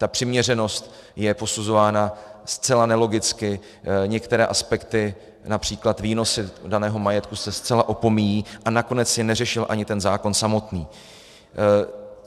Ta přiměřenost je posuzována zcela nelogicky, některé aspekty, například výnosy daného majetku, se zcela opomíjejí, a nakonec je neřešil ani ten zákon samotný.